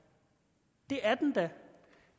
det er den da